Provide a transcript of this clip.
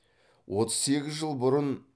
отыз сегіз жыл бұрын